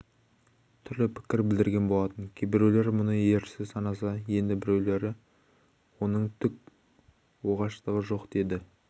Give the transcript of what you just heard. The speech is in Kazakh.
түрлі пікір білдірген болатын кейбіреулер мұны ерсі санаса енді біреулер оның түк оғаштығы жоқ деді